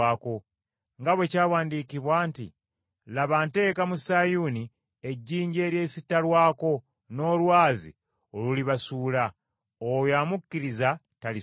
nga bwe kyawandiikibwa nti, “Laba, nteeka mu Sayuuni ejjinja eryesittalwako n’olwazi olulibasuula. Oyo amukkiriza taliswazibwa.”